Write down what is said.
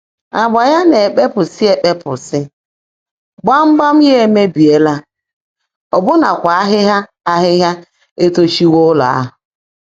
Ágbá yá ná-èkpèpụ́sị́ èkpèpụ́sị́, gbámgbàm yá émeèbíéla, ọ́bụ́nakwá áhị́hị́á áhị́hị́á ètóchiwó ụ́lọ́ áhụ́.